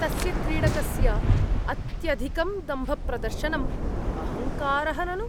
तस्य क्रीडकस्य अत्यधिकं दम्भप्रदर्शनम् अहंकारः ननु।